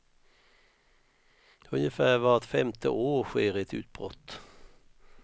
Ungefär vart femte år sker ett utbrott.